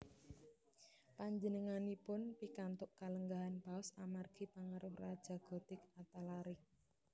Panjenenganipun pikantuk kalenggahan Paus amargi pangaruh Raja Gotik Athalaric